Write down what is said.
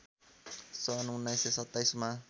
सन् १९२७ मा